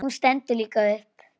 Hún stendur líka upp.